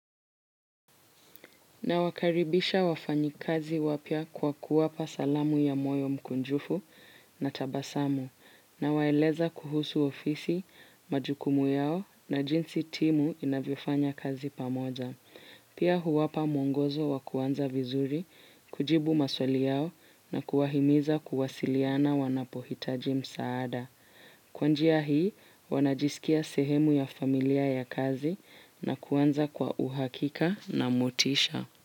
Na wakaribisha wafanyikazi wapya kwa kuwapa salamu ya moyo mkunjufu na tabasamu nawaeleza kuhusu ofisi, majukumu yao na jinsi timu inavyofanya kazi pamoja. Pia huwapa mwongozo wakuanza vizuri, kujibu maswali yao na kuwahimiza kuwasiliana wanapohitaji msaada. Kwanjia hii wanajisikia sehemu ya familia ya kazi na kuanza kwa uhakika na motisha.